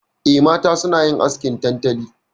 Eh, mata suna yin askin tantali.